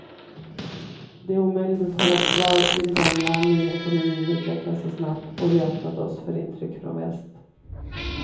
Det är omöjligt att hålla kvar vid det gamla nu när ekonomin utvecklas så snabbt och vi öppnat oss för intryck från väst.